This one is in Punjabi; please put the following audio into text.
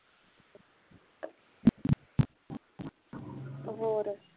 ਹੋਰ